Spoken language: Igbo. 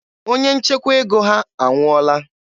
Onye nchekwa ego ha anwụọla.